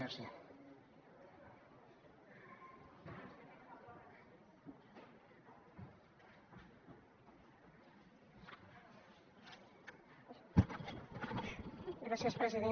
gràcies president